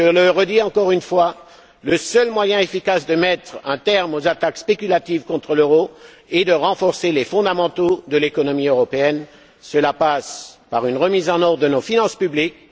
Je le redis encore une fois, le seul moyen efficace de mettre un terme aux attaques spéculatives contre l'euro et de renforcer les fondamentaux de l'économie européenne, c'est une remise en ordre de nos finances publiques.